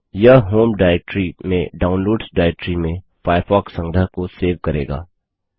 यह home directory में downloads directory में फ़ायरफ़ॉक्स संग्रह को सेव करेगा